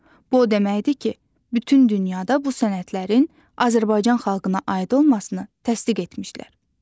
Bu o deməkdir ki, bütün dünyada bu sənətlərin Azərbaycan xalqına aid olmasını təsdiq etmişlər.